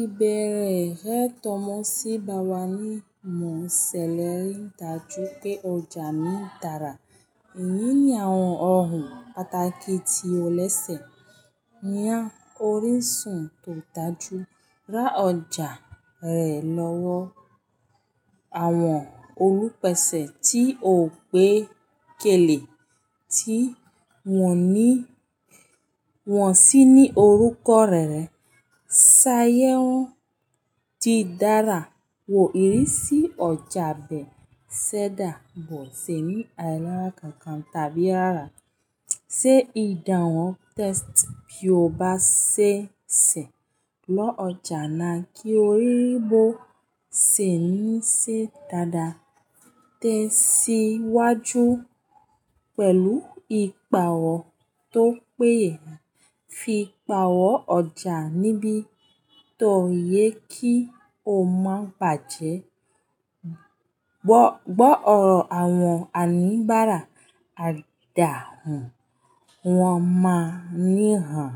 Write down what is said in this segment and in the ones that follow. Ìbéèrè rẹ tọ́mọ sí bá wa ní mọ̀ sẹlẹ̀ rí ń dájú pé ọjà mi dára. Ìní ní àwọn ọ̀hun pàtàkì tí ó lẹ́sẹ̀. Yan orísun tó dájú ra ọjà rẹ lọ́wọ́ àwọn olùpèsè tí ò pé kèlè tí wọ́n sí ní orúkọ rere. Ṣáyẹ̀wó di dára wo ìrísí ọjà bẹ́ẹ̀ ṣẹ́da, bó ṣe ní àìlára kankan tàbí àrà. Ṣe ìdàhun tẹ́sítì bí ó bá ṣe ṣẹ̀ lọ́ ọjà náà kí o rí bó ṣe ní ṣe dáadáa. Tẹ́siwájú pẹ̀lú ìpààwọ̀ tó péye fi pààwọ̀ ọjà níbi tó yẹ kí o má bàjẹ́. Gbọ́ ọ̀rọ̀ àwọn oníbàárà àdàhùn, wọ́n máa ní hàn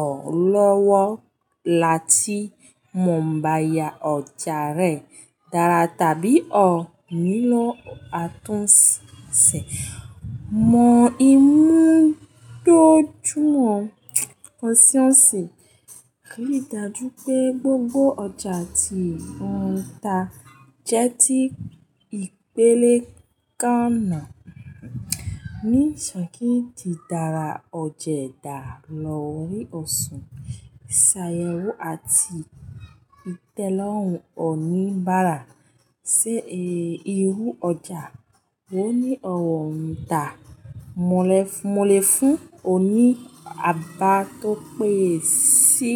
ọ́ lọ́wọ́ láti mọ̀ bá ẹya ọjà rẹ dára tàbí ọ̀ nílọ̀ àtúnṣe. Mọ ìmu tó jùmọ̀ ọ́n sí ọ́n ṣe, rí dájú pé gbogbo ọjà tí ò ń tà jẹ́ ti ìpele kànnà. Nísànki ń di dára, ọ̀jẹ̀ dá lọ́rí ọ̀ṣun. Ṣáyẹ̀wò àti ìtẹ́lọ́rùn oníbàárà ṣe irú ọjà wò ní ọ̀rọ̀ ń tà. Mọ̀lẹ́ fún oní àbà tó péye sí.